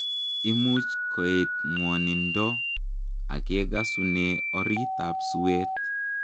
Imuch koet ngwanindoo agekasunee oreet ap suweet